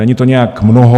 Není to nějak mnoho.